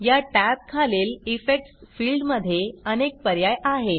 या टॅब खालील इफेक्ट्स फिल्डमध्ये अनेक पर्याय आहेत